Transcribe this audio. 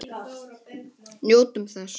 Njótum þess.